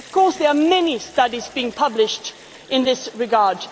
question of jobs. Of course there are many studies being published